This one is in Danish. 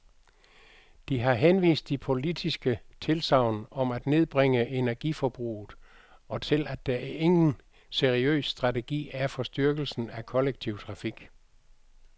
De har henvist til politiske tilsagn om at nedbringe energiforbruget, og til at der ingen seriøs strategi er for styrkelsen af kollektiv trafik.